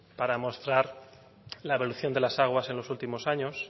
para mostrar la evolución de las aguas en los últimos años